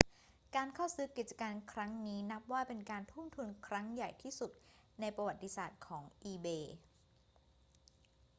การเข้าซื้อกิจการครั้งนี้นับว่าเป็นการทุ่มทุนครั้งใหญ่ที่สุดในประวัติศาสตร์ของ ebay